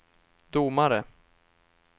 domare